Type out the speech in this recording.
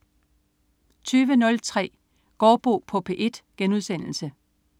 20.03 Gaardbo på P1*